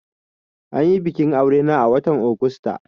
Anyi bikin aure na a watan Augusta